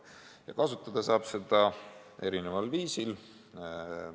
Ja kasutada saab seda erineval viisil.